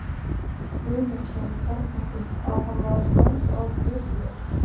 Guðmundsson í Kjarnholtum, að hann var um mörg ár fyrirliði